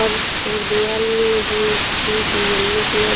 फर्श और दीवाल है इसकी येल्लो कलर --